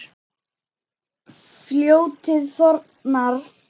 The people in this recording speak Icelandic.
Fljótið þornar.